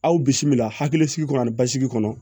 Aw bisimila hakilisigi kɔnɔ ani basigi kɔnɔ